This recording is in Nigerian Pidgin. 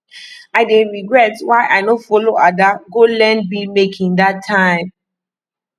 i dey regret why i no follow ada go learn bead making dat time